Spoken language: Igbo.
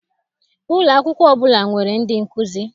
Ụlọakwụkwọ ọbụla nwere ndị nkụzi